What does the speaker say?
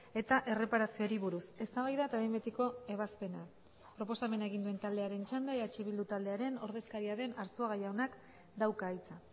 eta erreparazioari buruz eztabaida eta behin betiko ebazpena proposamena egin duen taldearen txanda eh bildu taldearen ordezkaria den arzuaga jaunak dauka hitza